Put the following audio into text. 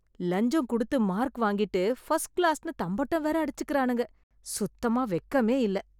லஞ்சம் குடுத்து மார்க் வாங்கிட்டு, ஃபர்ஸ்ட் க்ளாஸ்னு தம்பட்டம் வேற அடிச்சுக்கறானுங்க... சுத்தமா வெக்கமே இல்ல.